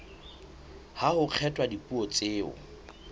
ha ho kgethwa dipuo tseo